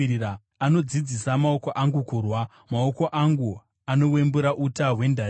Anodzidzisa maoko angu kurwa; maoko angu anowembura uta hwendarira.